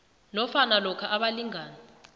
nofana lokha abalingani